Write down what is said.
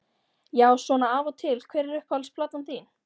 Já svona af og til Hver er uppáhalds platan þín?